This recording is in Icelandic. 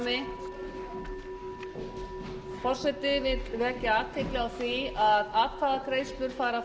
forseti vill vekja athygli á því að atkvæðagreiðslur fara